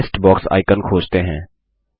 अपना list box icon खोजते हैं